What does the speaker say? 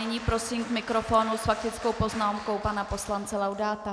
Nyní prosím k mikrofonu s faktickou poznámkou pana poslance Laudáta.